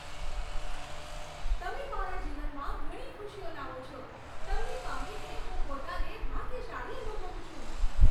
તમે મારા જીવનમાં ઘણી ખુશીઓ લાવો છો. તમને પામીને હું પોતાને ભાગ્યશાળી અનુભવું છું.